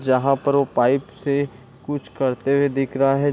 जहाँ पर वो पाइप से कुछ करते हुए दिख रहा है।